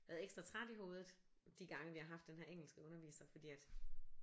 Været ekstra træt i hovedet de gange vi har haft den her engelske underviser fordi at